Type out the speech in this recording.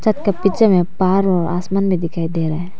एक पिक्चर में पहाड़ और आसमान भी दिखाई दे रहे हैं।